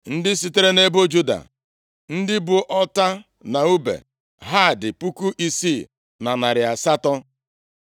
Ndị sitere nʼebo Juda, ndị bu ọta na ùbe ha dị puku isii na narị asatọ. (6,800)